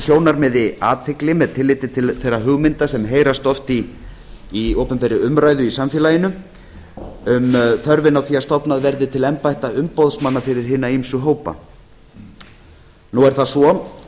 sjónarmiði athygli með tilliti til þeirra hugmynda sem heyrast oft í opinberri umræðu í samfélaginu um þörfina á því að stofna verði til embætta umboðsmanna fyrir hina ýmsu hópa nú er það svo